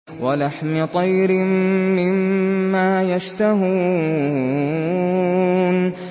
وَلَحْمِ طَيْرٍ مِّمَّا يَشْتَهُونَ